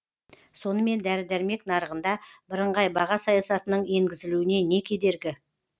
сонымен дәрі дәрмек нарығында бірыңғай баға саясатының енгізілуіне не кедергі